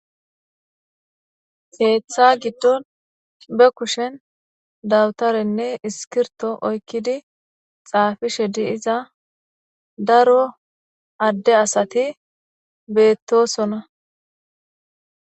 heeththa giddon be kushen dawutarenne iskirto oykkidi xaafishe di iza daro adde asati beettosona